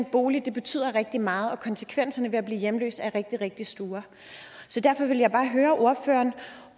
bolig betyder rigtig meget og at konsekvenserne af at blive hjemløs er rigtig rigtig store derfor vil jeg bare høre ordføreren